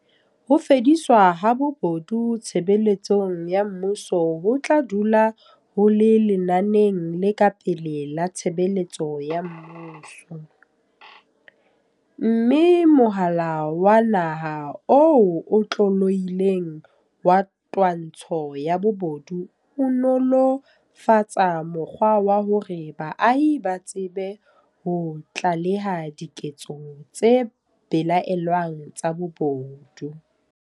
Ho fediswa ha bobo du tshebeletsong ya mmuso ho tla dula ho le lenaneng le ka pele la tshebetso ya mmuso, mme Mohala wa Naha o Otlolohileng wa Twantsho ya Bobodu o nolo -fatsa mokgwa wa hore baahi ba tsebe ho tlaleha diketso tse belaellwang tsa bobodu.